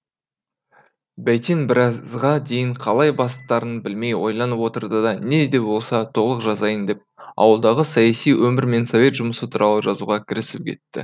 бәйтен біразға дейін қалай бастарын білмей ойланып отырды да не де болса толық жазайын деп ауылдағы саяси өмір мен совет жұмысы туралы жазуға кірісіп кетті